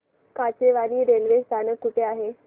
Kachewani railway स्थानक कुठे आहे